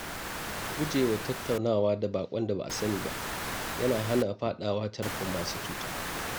Gujewa tattaunawa da baƙon da ba a sani ba yana hana fadawa tarkon masu cuta.